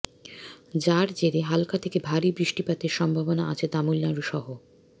যার জেরে হালকা থেকে ভারী বৃষ্টিপাতের সম্ভাবনা আছে তামিলনাড়ু সহ